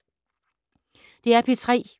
DR P3